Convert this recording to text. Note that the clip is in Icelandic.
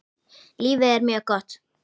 Lífið er mjög gott.